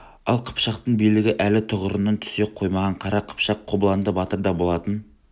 ал қыпшақтың билігі әлі тұғырынан түсе қоймаған қара қыпшақ қобыланды батырда болатын